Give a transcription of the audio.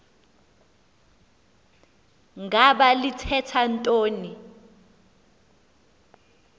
ngaba lithetha ntoni